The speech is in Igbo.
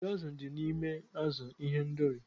Achịcha azụ̀ dị n'ime azụ̀ ihendori